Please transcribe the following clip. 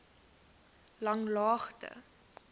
langlaagte